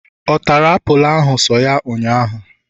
ọ tara apulu ahu so ya ụnyaahụ?